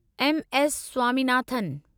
M S Swaminathan